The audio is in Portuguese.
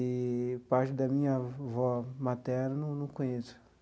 Eee parte da minha avó materna eu não conheço.